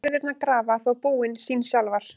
Læðurnar grafa þó búin sín sjálfar.